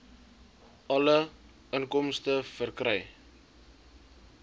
alle inkomste verkry